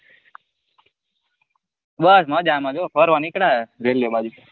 બસ માજા માં જો ફરવા નીકળીયા railway બાજુ.